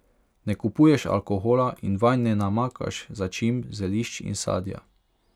Ne kupuješ alkohola in vanj ne namakaš začimb, zelišč in sadja.